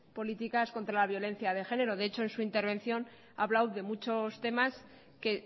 políticas contra la violencia de género de hecho en su intervención ha hablado de muchos temas que